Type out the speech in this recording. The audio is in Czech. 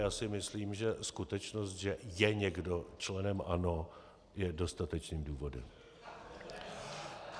Já si myslím, že skutečnost, že je někdo členem ANO, je dostatečným důvodem.